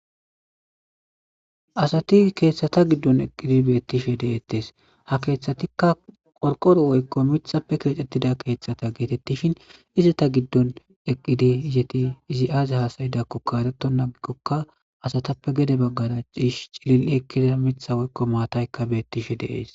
Asati kethata gidon eqidi betishe de'etes, ha keethatika qorqoroppe woyko mithappe kexetida kethata getetishn , izeta gidon eqid izeti izi azi hasa'idakoka eretona agikoka asata gede bagara be'ishn cilil ekida Mitha woyko matayka betishe de'es.